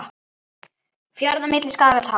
Fjarða milli skagar tá.